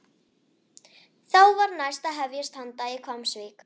Þá var næst að hefjast handa í Hvammsvík.